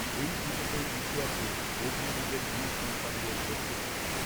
এই পুজোতেই মিশে আছে অগ্নিযুগের বীরসন্তানদের যজ্ঞশক্তি